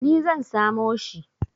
Ni zan samo shi.